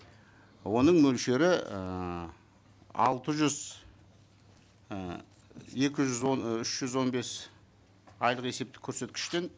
оның мөлшері ыыы алты жүз і екі жүз он үш жүз он бес айлық есептік көрсеткіштен